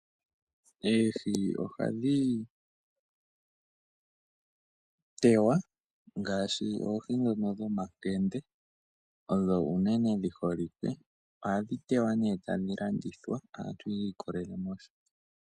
Eehi ohadhi tewa ngaashi oohi dhono dhomakende, odho unene dhi holike. Ohadhi tewa nee tadhi landithwa kaantu.